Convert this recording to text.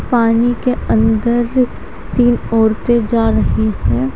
पानी के अंदर तीन औरतें जा रही हैं।